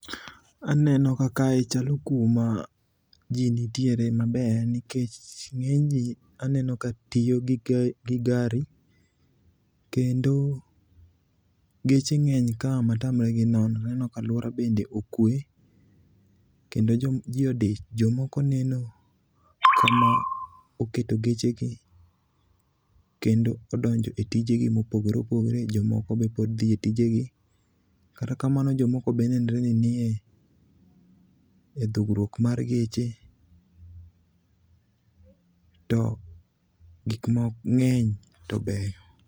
Aneno ka kae chalo kuma ji nitiere maber nikech ng'eny ji aneno ka tiyo gi gari, kendo geche ng'eny ka matamre gi nono. Aneno ka alwora bende okwe ,kendo ji odich. Jomoko neno kama oketo gechegi kendo odonjo e tijegi mopogore opogore. Jomoko be pod dhi e tijegi. Kata kamano, jomoko be nenre ni nie dhoggruok mar geche. To gikmoko ng'eny to beyo.